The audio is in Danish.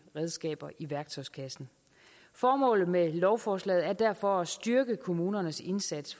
redskaber i værktøjskassen formålet med lovforslaget er derfor at styrke kommunernes indsats